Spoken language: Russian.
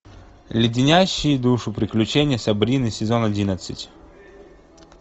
леденящие душу приключения сабрины сезон одиннадцать